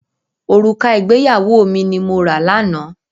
Òrùka ìgbéyàwó mi ni mo rà lánàá.